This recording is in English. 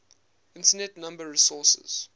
internet number resources